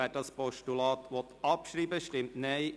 Wer das Postulat abschreiben will, stimmt Ja,